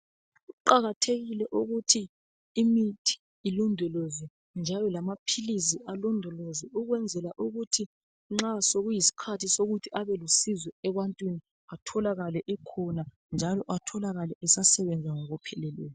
Kuqakathekile ukuthi imithi ilondolozwe njalo lamaphilizi alondolozwe ukwenzela ukuthi nxa sokuyisikhathi sokuthi abelusizo ebantwini atholakale ekhona njalo atholakale esasebenza ngokupheleleyo.